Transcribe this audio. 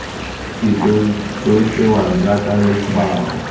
setso jo tsewang jaaka letshwao